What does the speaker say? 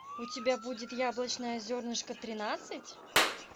у тебя будет яблочное зернышко тринадцать